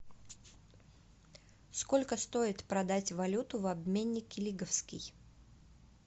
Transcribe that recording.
сколько стоит продать валюту в обменнике лиговский